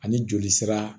Ani joli sira